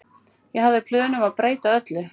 Ég hafði plön um að breyta öllu.